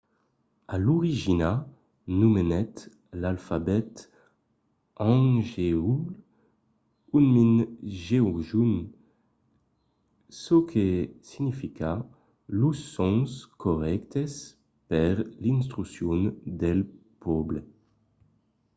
a l'origina nomenèt l’alfabet hangeul hunmin jeongeum çò que significa los sons corrèctes per l’instruccion del pòble